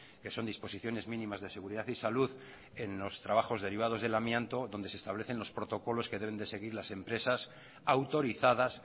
que son disposiciones mínimas de seguridad y salud en los trabajos derivados del amianto donde se establecen los protocolos que deben de seguir las empresas autorizadas